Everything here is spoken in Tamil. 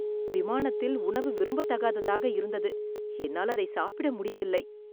விமானத்தில் உணவு விரும்பத்தகாததாக இருந்தது, என்னால் அதை சாப்பிட முடியவில்லை.